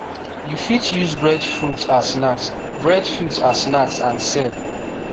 u fit use breadfruit as snacks breadfruit as snacks and sell